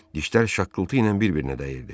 Dişlər şaqqıltı ilə bir-birinə dəyirdi.